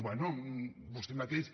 bé vostè mateix